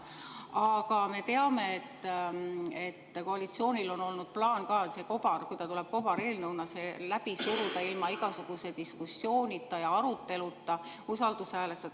Aga me teame, et koalitsioonil on olnud plaan, et kui see tuleb kobareelnõuna, siis see läbi suruda ilma igasuguse diskussiooni ja aruteluta, usaldushääletusel.